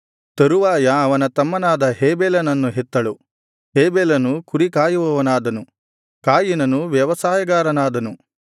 ತರುವಾಯ ಅವನ ತಮ್ಮನಾದ ಹೇಬೆಲನನ್ನು ಹೆತ್ತಳು ಹೇಬೆಲನು ಕುರಿಕಾಯುವವನಾದನು ಕಾಯಿನನು ವ್ಯವಸಾಯಗಾರನಾದನು